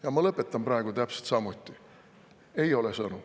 Ja ma lõpetan praegu täpselt samuti: ei ole sõnu.